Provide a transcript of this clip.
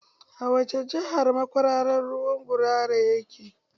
A wace jahar makwararan ruwan gurara yake?